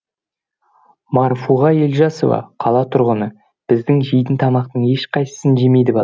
марфуға елжасова қала тұрғыны біз жейтін тамақтың ешқайсысын жемейді бала